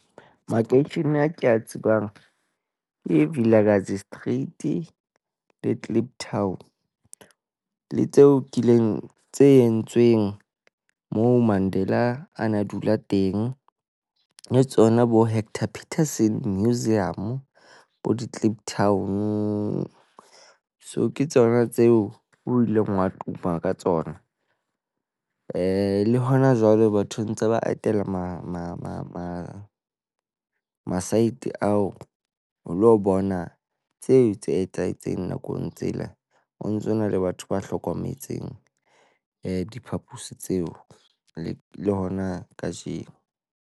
Makeishene a ke a tsebang ke Vilakazi Street le Kliptown. Le tseo kileng tse entsweng moo. Mandela a na dula teng. Le tsona bo-Hector Peterson Museum, bo di-Kliptown. So ke tsona tseo o ileng wa tuma ka tsona. Eh, le hona jwale batho ntse ba atela, Mama masente ao o lo bona tseo tse etsahetseng nakong tsela. Ho ntso na le batho ba hlokometseng eh diphaposi tseo, eh, le hona kajeno.